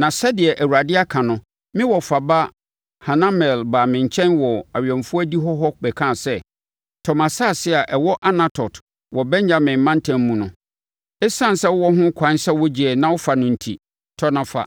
“Na sɛdeɛ Awurade aka no me wɔfa ba Hanamel baa me nkyɛn wɔ awɛmfoɔ adihɔ hɔ bɛkaa sɛ, ‘Tɔ mʼasase a ɛwɔ Anatot wɔ Benyamin mantam mu no. Esiane sɛ wowɔ ho ɛkwan sɛ wogyeɛ na wofa no enti, tɔ na fa.’